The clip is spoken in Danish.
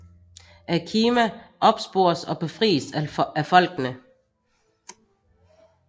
Akima opspores og befries af folkene